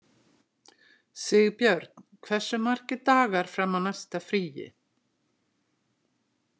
Sigbjörn, hversu margir dagar fram að næsta fríi?